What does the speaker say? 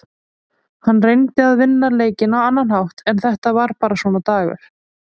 Hann reyndi að vinna leikinn á annan hátt en þetta var bara svona dagur.